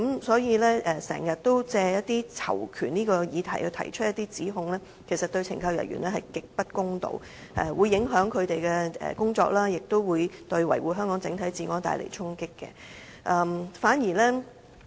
所以，經常借囚權議題提出指控，其實對懲教人員極不公道，會影響他們的工作，亦對維護香港整體治安帶來衝擊。